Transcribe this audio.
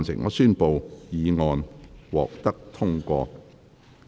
我宣布議案獲得通過。